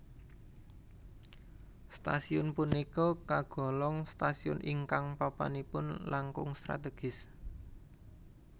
Stasiun punika kagolong stasiun ingkang papanipun langkung strategis